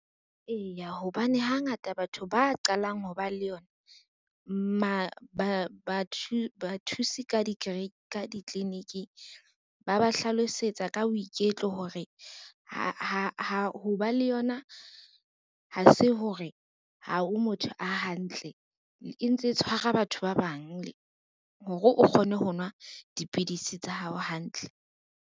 Eya hobane hangata batho ba qalang ho ba le yona, ba thuse ka ditliliniking ba ba hlalosetsa ka boiketlo hore ho ba le yona ha se hore ha o motho a hantle, e ntse tshwara batho ba bang hore o kgone ho nwa dipidisi tsa hao hantle.